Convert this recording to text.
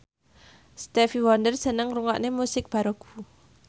Stevie Wonder seneng ngrungokne musik baroque